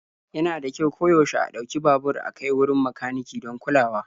Yana da kyau koyaushe a ɗauki babur a kai wurin makaniki don kulawa.